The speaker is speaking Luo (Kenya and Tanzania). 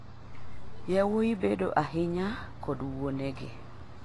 yawuoyi bedo ahinya kod wuone gi